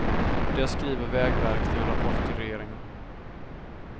Det skriver vägverket i en rapport till regeringen.